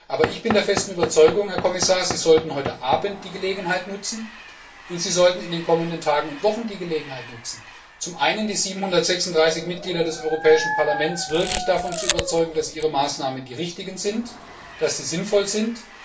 Aber ich bin der festen Überzeugung, Herr Kommissar, Sie sollten heute Abend und in den kommenden Tagen und Wochen die Gelegenheit nutzen, um die 736 Mitglieder des Europäischen Parlaments wirklich davon zu überzeugen, dass Ihre Maßnahmen die richtigen sind, dass sie sinnvoll sind.